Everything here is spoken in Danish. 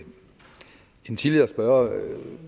en tidligere spørger